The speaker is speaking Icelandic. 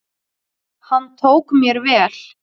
Hann tók mér vel.